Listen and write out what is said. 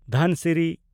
ᱫᱷᱟᱱᱥᱤᱨᱤ